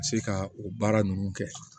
Se ka o baara ninnu kɛ